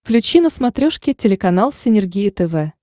включи на смотрешке телеканал синергия тв